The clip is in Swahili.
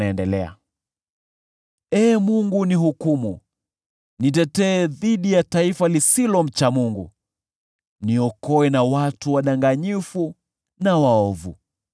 Ee Mungu unihukumu, nitetee dhidi ya taifa lisilomcha Mungu, niokoe na watu wadanganyifu na waovu.